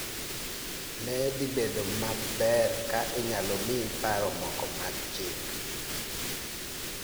Ne dhi bedo maber ka anyalo miyi paro moko mag chik